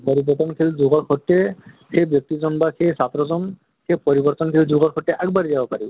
সেই পৰিৱৰ্তনশিল যুগৰ সৈতে সেই ব্য়ক্তি জন বা সেই ছাত্ৰ জন সেই পৰিৱৰ্তনশিল যুগৰ সৈতে আগ বাঢ়ি পাৰি।